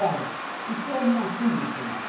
Ora, isso houve um acúmulo político.